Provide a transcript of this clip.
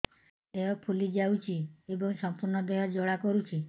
ଦେହ ଫୁଲି ଯାଉଛି ଏବଂ ସମ୍ପୂର୍ଣ୍ଣ ଦେହ ଜ୍ୱାଳା କରୁଛି